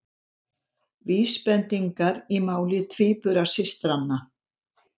Vísbendingar í máli tvíburasystranna